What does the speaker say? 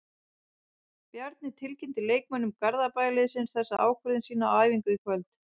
Bjarni tilkynnti leikmönnum Garðabæjarliðsins þessa ákvörðun sína á æfingu í kvöld.